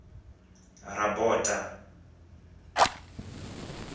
rabota